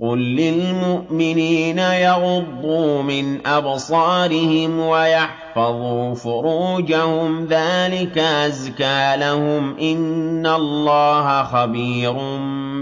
قُل لِّلْمُؤْمِنِينَ يَغُضُّوا مِنْ أَبْصَارِهِمْ وَيَحْفَظُوا فُرُوجَهُمْ ۚ ذَٰلِكَ أَزْكَىٰ لَهُمْ ۗ إِنَّ اللَّهَ خَبِيرٌ